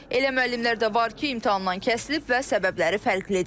Elə müəllimlər də var ki, imtahandan kəsilib və səbəbləri fərqlidir.